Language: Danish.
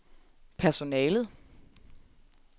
personalet